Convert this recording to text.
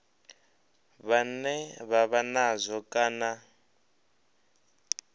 vhane vha vha nazwo kana